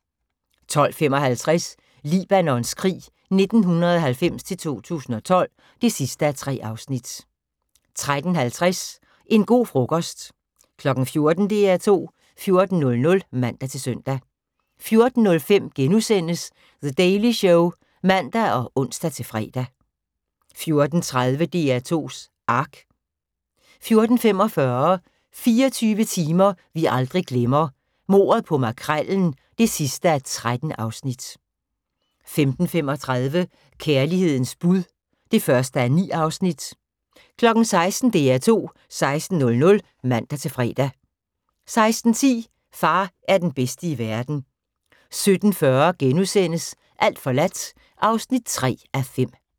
12:55: Libanons krig 1990-2012 (3:3) 13:50: En go' frokost 14:00: DR2 14.00 (man-søn) 14:05: The Daily Show *(man og ons-fre) 14:30: DR2's Ark 14:45: 24 timer vi aldrig glemmer - mordet på Makrellen (13:13) 15:35: Kærlighedens bud (1:9) 16:00: DR2 16.00 (man-fre) 16:10: Far er den bedste i verden 17:40: Alt forladt (3:5)*